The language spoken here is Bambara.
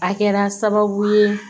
A kɛra sababu ye